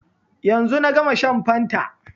Yanzu na gama shan fanta